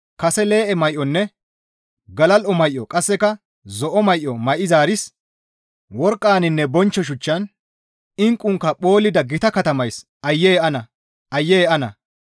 «Kase lee7e may7onne galal7o may7o qasseka zo7o may7o may7izaaris, worqqaninne bonchcho shuchchan, inqqunkka phoollida gita katamays aayye ana! Aayye ana!